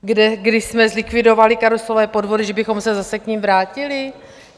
Kdy jsme zlikvidovali karuselové podvody, že bychom se zase k nim vrátili?